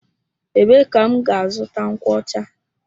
Ebee ka m gá-azụta nkwocha?